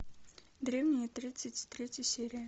древние тридцать третья серия